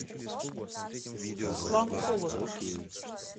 руслан колотов